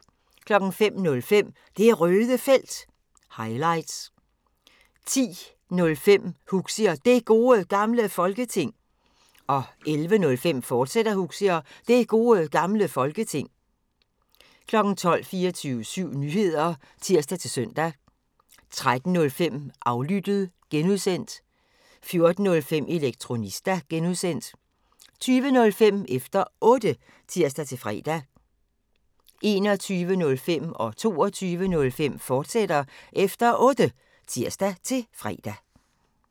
05:05: Det Røde Felt – highlights 10:05: Huxi og Det Gode Gamle Folketing 11:05: Huxi og Det Gode Gamle Folketing, fortsat 12:00: 24syv Nyheder (tir-søn) 13:05: Aflyttet (G) 14:05: Elektronista (G) 20:05: Efter Otte (tir-fre) 21:05: Efter Otte, fortsat (tir-fre) 22:05: Efter Otte, fortsat (tir-fre)